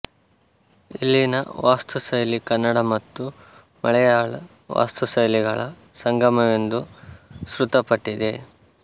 ಇಲ್ಲಿನ ವಾಸ್ತುಶೈಲಿ ಕನ್ನಡ ಮತ್ತು ಮಲೆಯಾಳ ವಾಸ್ತುಶೈಲಿಗಳ ಸಂಗಮವೆಂದು ಶ್ರುತಪಟ್ಟಿದೆ